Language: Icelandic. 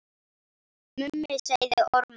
Mummi sagði ormar.